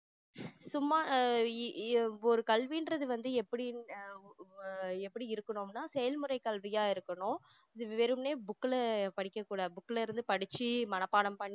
சும்மா ஆஹ் அஹ் ஒரு கல்வின்றது வந்து எப்படி ஆஹ் ஹம் எப்படி இருக்கணும்னா செயல்முறை கல்வியா இருக்கணும் இது வெறுமனே book ல படிக்க கூடாது book ல இருந்து படிச்சி மனப்பாடம்